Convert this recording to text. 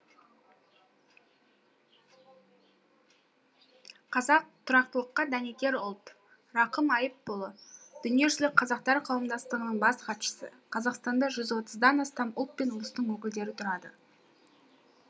қазақ тұрақтылыққа дәнекер ұлт рақым аи ыпұлы дүниежүзілік қазақтар қауымдастығының бас хатшысы қазақстанда жүз отыздан астам ұлт пен ұлыстың өкілдері тұрады